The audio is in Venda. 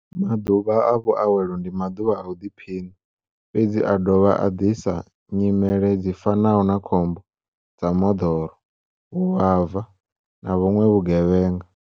Maḓuvha a vhuawelo ndi maḓuvha a u ḓiphiṋa. Fhedzi a a dovha a ḓisa nyimele dzi fanaho na khombo dza moḓoro, vhuvhava na vhuṅwe vhugevhenga.